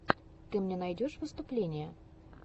ты мне найдешь выступления